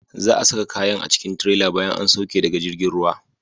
Za'a saka kayan a cikin tirela bayan an sauke daga jirgin ruwa.